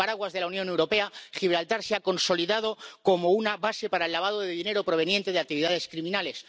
Bajo el paraguas de la Unión Europea, Gibraltar se ha consolidado como una base para el lavado de dinero proveniente de actividades criminales.